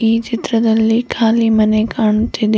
ಈ ಚಿತ್ರದಲ್ಲಿ ಕಾಲಿ ಮನೆ ಕಾಣ್ತಿದೆ.